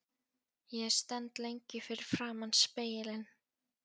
Ég stend lengi fyrir framan spegilinn.